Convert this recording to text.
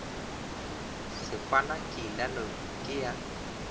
sehwana ke ilalo ke ya